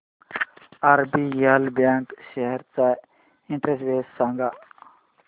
RBL bank shares चा index सांगा